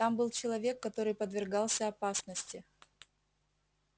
там был человек который подвергался опасности